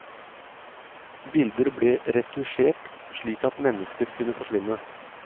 Bilder ble retusjert slik at mennesker kunne forsvinne.